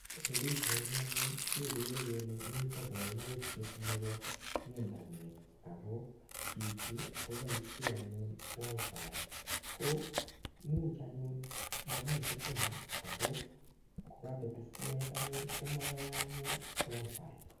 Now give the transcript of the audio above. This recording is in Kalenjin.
Eng pichait ni anyun, kekere mitei kaimutiet nebo internet. Ako chichi, koboisie anyun WiFi. Ko imuch anyun mamii sitima. Ako kokabet stimet anyun, komayae anyun WiFi.